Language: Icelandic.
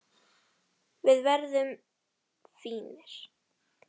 Við verðum fínir.